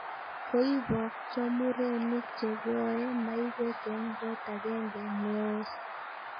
Koibokcho murenik che koee maiwek eng kot agenge neoos